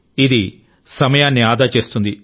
ఇది సమయాన్ని ఆదా చేస్తుంది